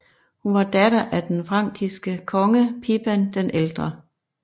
Hun var datter af den frankiske konge Pipin den ældre